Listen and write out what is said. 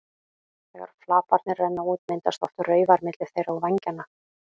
Þegar flaparnir renna út myndast oft raufar milli þeirra og vængjanna.